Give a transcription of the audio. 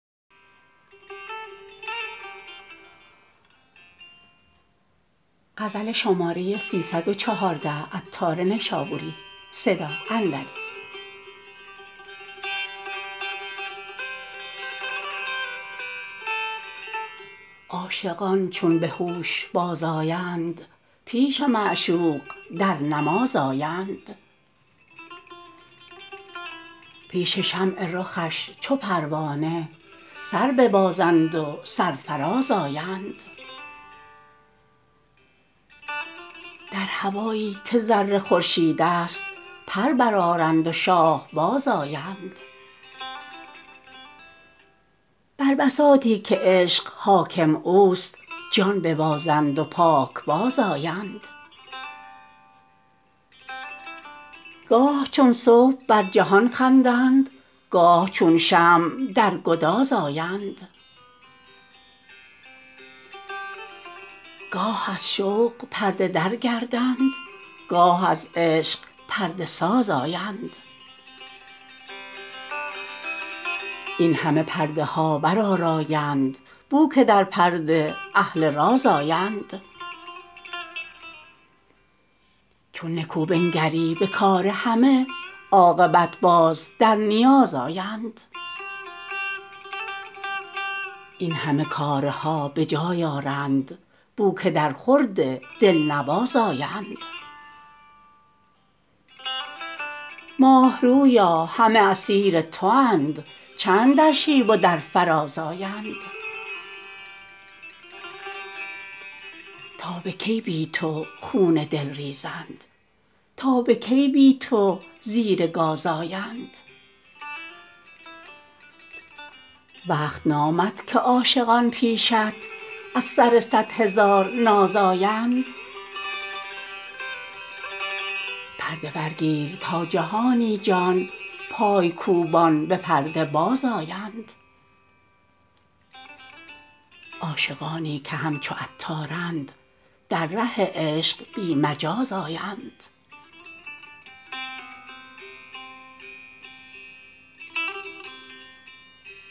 عاشقان چون به هوش باز آیند پیش معشوق در نماز آیند پیش شمع رخش چو پروانه سر ببازند و سرفراز آیند در هوایی که ذره خورشید است پر برآرند و شاه باز آیند بر بساطی که عشق حاکم اوست جان ببازند و پاک باز آیند گاه چون صبح بر جهان خندند گاه چون شمع در گداز آیند گاه از شوق پرده در گردند گاه از عشق پرده ساز آیند این همه پرده ها بر آرایند بو که در پرده اهل راز آیند چو نکو بنگری به کار همه عاقبت باز در نیاز آیند این همه کارها به جای آرند بو که در خورد دلنواز آیند ماه رویا همه اسیر تو اند چند در شیب و در فراز آیند تا به کی بی تو خون دل ریزند تا به کی بی تو زیر گاز آیند وقت نامد که عاشقان پیشت از سر صد هزار ناز آیند پرده برگیر تا جهانی جان پای کوبان به پرده باز آیند عاشقانی که همچو عطارند در ره عشق بی مجاز آیند